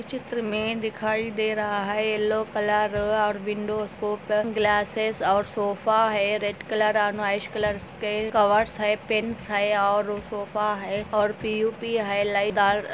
चित्र में दिखाई दे रहा है येलो कलर और विंडो को पर ग्लासेस और सोफा है रेड कलर और वाइट कलर के कवर सहित पिस है और सोफा है और प है लड़ाई--